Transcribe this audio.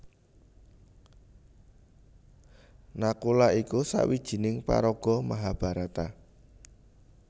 Nakula iku sawijining paraga Mahabharata